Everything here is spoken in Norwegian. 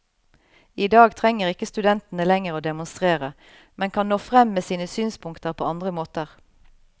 I dag trenger ikke studentene lenger å demonstrere, men kan nå frem med sine synspunkter på andre måter.